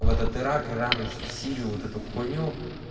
в этот ирак иран в сирии вот эту хуйню